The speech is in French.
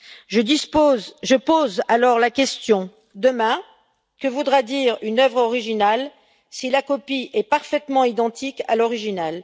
Je pose alors ces questions Demain, que voudra dire une œuvre originale si la copie est parfaitement identique à l'original?